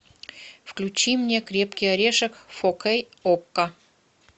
включи мне крепкий орешек фор кей окко